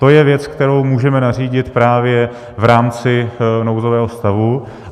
To je věc, kterou můžeme nařídit právě v rámci nouzového stavu.